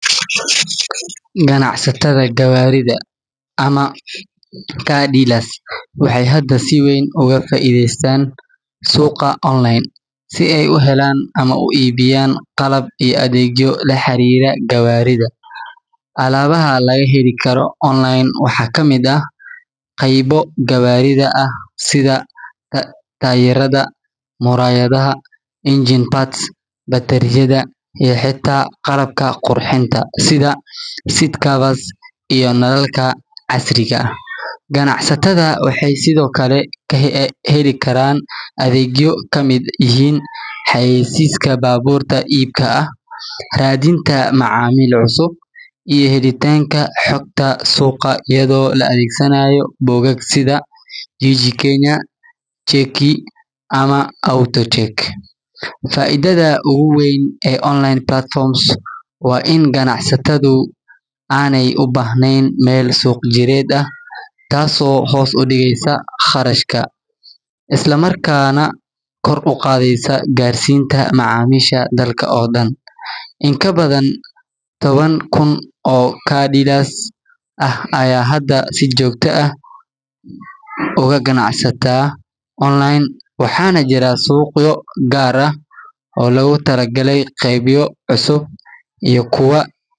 Ganacsatada gawaarida waxeey hada si weyn ugu faideestaan suuqa, alabaha laga heli karo waxaa kamid ah qeybo gaarida, sida nalalka casriga ah, waxeey sido kale heli xayeeysiyaan iyo helitanka xogagta suuqa, faidada oogu weyn waa in ganacsatada aay heli karaan suuq jireenta taas oo hoos udigeysa qarashadka, in kabadan taban kun oo garida ayaa hada si joogta ah ugu ganacsata, waxaana jiraa suuqyo ugaar ah oo loogu tala galay qeebo cusub.